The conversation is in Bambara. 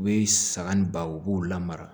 U bɛ saga ni ba u b'u la mara